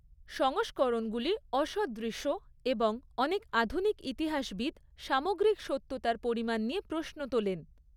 সংস্করণগুলি অসদৃশ এবং অনেক আধুনিক ইতিহাসবিদ সামগ্রিক সত্যতার পরিমাণ নিয়ে প্রশ্ন তোলেন।